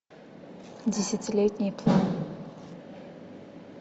десятилетний план